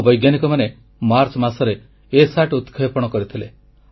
ଆମ ବୈଜ୍ଞାନିକମାନେ ମାର୍ଚ୍ଚ ମାସରେ ଇସାଟ ଉତକ୍ଷେପଣ କରିଥିଲେ